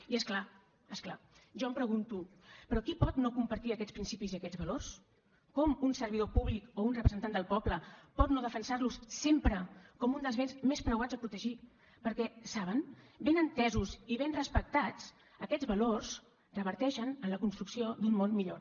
i és clar és clar jo em pregunto però qui pot no compartir aquests principis i aquests valors com un servidor públic o un representant del poble pot no defensar los sempre com un dels béns més preuats a protegir perquè saben ben entesos i ben respectats aquests valors reverteixen en la construcció d’un món millor